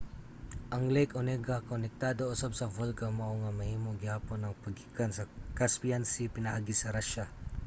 ang lake onega konektado usab sa volga mao nga mahimo gihapon ang paggikan sa caspian sea pinaagi sa russia